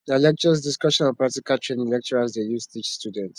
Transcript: nah lectures discussion and practical training lecturers dey use teach students